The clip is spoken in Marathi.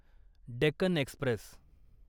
डेक्कन एक्स्प्रेस